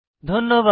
ধন্যবাদ